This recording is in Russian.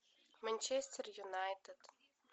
манчестер юнайтед